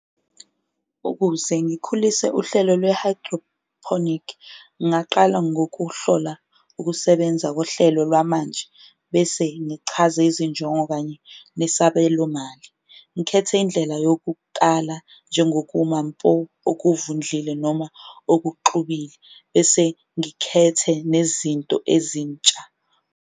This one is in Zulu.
Ukuze ngikhulise uhlelo lwe-hydroponic ngaqala ngokuhlola ukusebenza kohlelo lwamanje, bese ngichaze izinjongo kanye nesabelomali. Ngikhethe indlela yokukala njengokuma mpo okuvundlile noma okuxubile, bese ngikhethe nezinto ezintsha.